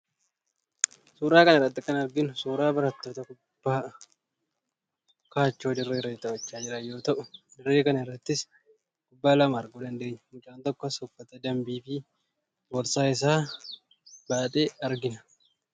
Suuraa kana irratti kan arginu suuraa barattoota kubbaa kaachoo dirree irratti taphataa jiran yoo ta'u, dirree kana irrattis kubbaa lama arguu dandeenya. Mucaan tokkos uffata danbii fi boorsaa isaa baatee argina.